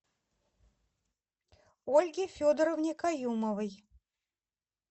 ольге федоровне каюмовой